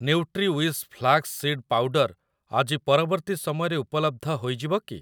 Nutriwish flax seed powder ଆଜି ପରବର୍ତ୍ତୀ ସମୟରେ ଉପଲବ୍ଧ ହୋଇଯିବ କି?